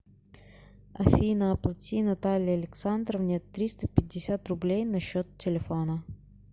афина оплати наталье александровне триста пятьдесят рублей на счет телефона